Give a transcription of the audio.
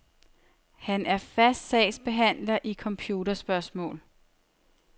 Han er fast sagsbehandler i computerspørgsmål.